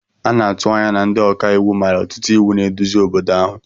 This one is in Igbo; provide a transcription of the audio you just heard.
A na-atụ anya na ndị ọka iwu mara ọtụtụ iwu na-eduzi obodo ahụ